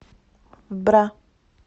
бра